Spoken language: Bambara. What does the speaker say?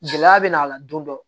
Gɛlɛya bɛ n'a la don dɔ